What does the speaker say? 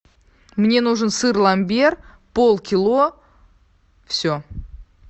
мне нужен сыр ламбер полкило все